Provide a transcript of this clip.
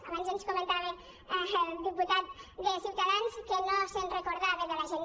abans ens comentava el diputat de ciutadans que no se’n recorda·va de la gent